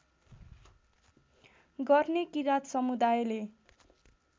गर्ने किरात समुदायले